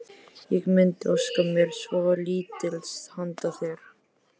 Ég mundi óska mér svolítils handa þér!